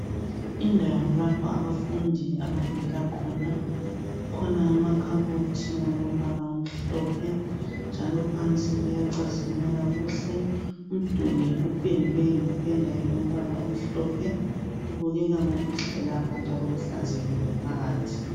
Indawo lapho abafundi abafundela khona, kukhona amakhabothi alombala omhlophe, njalo phansi kuyacazimula kuhle. Umduli upendwe ngependa elombala omhlophe .Kubukeka kukuhle lapha njalo kuhlanzekile phakathi.